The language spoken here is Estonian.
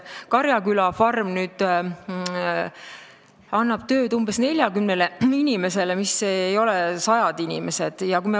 Karjaküla farm annab nüüd tööd umbes 40 inimesele, seal ei ole sadu inimesi.